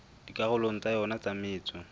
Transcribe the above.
dikarolong tsa yona tsa metso